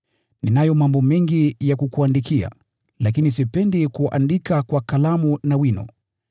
Ninayo mambo mengi ya kukuandikia, lakini sipendi kuandika kwa kalamu na wino.